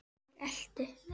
Ég elti.